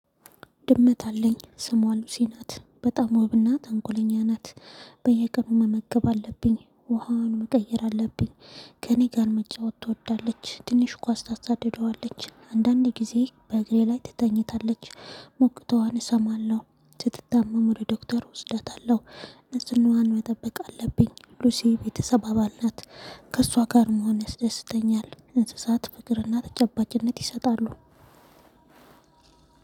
ድመት አለኝ ስሟ ሉሲ ናት በጣም ውብና ተንኮለኛ ናት። በየቀኑ መመገብ አለብኝ ውሃውን መቀየር አለብኝ። ከእኔ ጋር መጫወት ትወዳለች ትንሽ ኳስ ታሳድደዋለች አንዳንዴ ጊዜ በእግሬ ላይ ትተኝታለች። ሞቅተዋን እሰማለሁ። ስትታመም ወደ ዶክተር እወስዳታለሁ። ንጽህናዋን መጠበቅ አለብኝ ሉሲ ቤተሰብ አባል ናት። ከእሷ ጋር መሆን ያስደስተኛል። እንስሳት ፍቅርና ተጨባጭነት ይሰጣሉ።